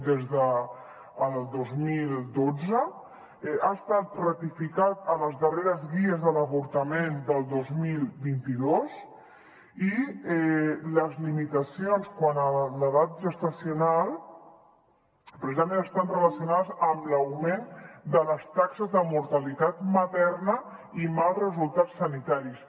des del dos mil dotze ha estat ratificat a les darreres guies de l’avortament del dos mil vint dos i les limitacions quant a l’edat gestacional precisament estan relacionades amb l’augment de les taxes de mortalitat materna i mals resultats sanitaris